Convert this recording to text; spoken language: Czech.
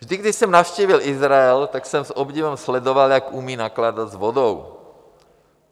Vždy když jsem navštívil Izrael, tak jsem s obdivem sledoval, jak umí nakládat s vodou.